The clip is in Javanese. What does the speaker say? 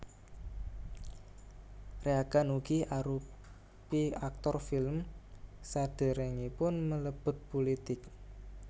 Reagan ugi arupi aktor film sadèrèngipun mlebet pulitik